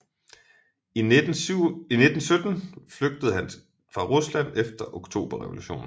I 1917 flygtede han fra Rusland efter oktoberrevolutionen